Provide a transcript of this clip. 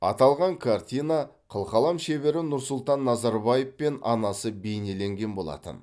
аталған картина қылқалам шебері нұрсұлтан назарбаев пен анасы бейнеленген болатын